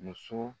Muso